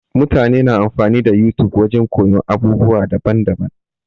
Mutane na amfani da YouTube wajen koyon abubuwa daban daban-daban.